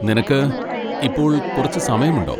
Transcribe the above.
നിനക്ക് ഇപ്പോൾ കുറച്ച് സമയമുണ്ടോ?